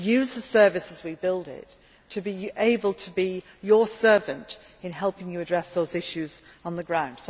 We must use the Service as we build it to be able to be your servant in helping you address those issues on the ground.